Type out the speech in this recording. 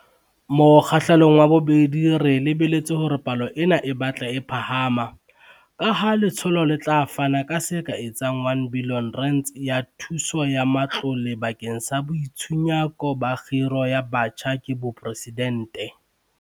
Mokgahlelong wa bobedi re lebeletse hore palo ena e batle e phahama, kaha letsholo le tla fana ka se ka etsang R1 bilione ya thuso ya matlole bakeng sa Boitshunyako ba Khiro ya Batjha ke Boporesidente.